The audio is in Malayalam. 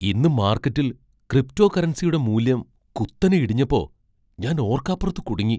ഇന്ന് മാർക്കറ്റിൽ ക്രിപ്റ്റോകറൻസിയുടെ മൂല്യം കുത്തനെ ഇടിഞ്ഞപ്പോ, ഞാൻ ഓർക്കാപ്പുറത്ത് കുടുങ്ങി.